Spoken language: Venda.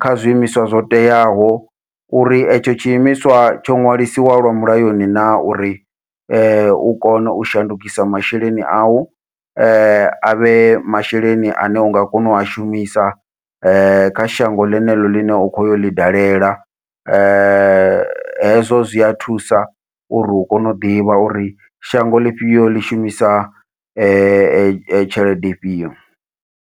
kha zwiimiswa zwo teaho uri etsho tshi imiswa tsho ṅwalisiwa lwa mulayoni na, uri u kona u shandukisa masheleni au avhe masheleni ane unga kona ua shumisa kha shango ḽeneḽo ḽine u khoya uḽi dalela hezwo zwia thusa uri u kone u ḓivha uri shango ḽifhio ḽi shumisa tshelede ifhio.